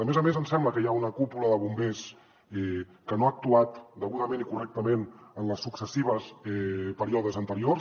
a més a més ens sembla que hi ha una cúpula de bombers que no ha actuat degudament ni correctament en els successius períodes anteriors